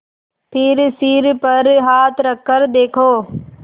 फिर सिर पर हाथ रखकर देखा